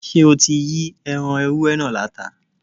Ṣé o ti Yí ẹran ewúré náà láta?